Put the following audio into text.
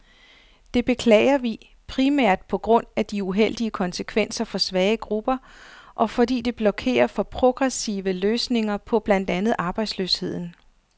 Det beklager vi, primært på grund af de uheldige konsekvenser for svage grupper, og fordi det blokerer for progressive løsninger på blandt andet arbejdsløsheden.